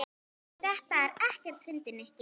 Þetta er ekkert fyndið, Nikki.